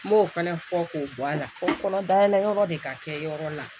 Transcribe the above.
N m'o fana fɔ k'o bɔ a la ko n kɔnɔ da yɛlɛ yɔrɔ de ka kɛ yɔrɔ la